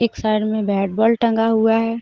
एक साइड में bat ball टंगा हुआ है.